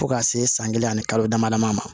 Fo ka se san kelen ani kalo dama damani ma